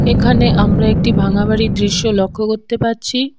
এখানে আমরা একটি ভাঙা বাড়ির দৃশ্য লক্ষ করতে পারছি।